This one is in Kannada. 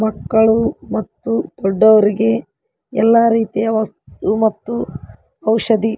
ಮಕ್ಕಳು ಮತ್ತು ದೊಡ್ಡವರಿಗೆ ಎಲ್ಲಾ ರೀತಿಯ ವಸ್ತು ಮತ್ತು ಔಷಧಿ --